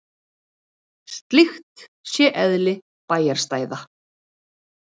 Slíkt sé eðli bæjarstæða